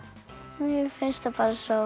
mér finnst þær bara svo